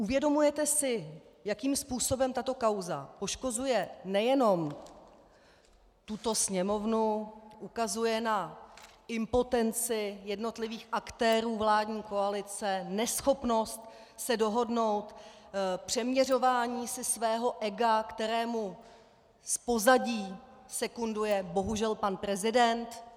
Uvědomujete si, jakým způsobem tato kauza poškozuje nejenom tuto Sněmovnu, ukazuje na impotenci jednotlivých aktérů vládní koalice, neschopnost se dohodnout, přeměřování si svého ega, kterému z pozadí sekunduje bohužel pan prezident?